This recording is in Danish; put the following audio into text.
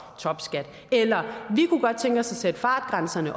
topskat eller vi kunne godt tænke os at sætte fartgrænserne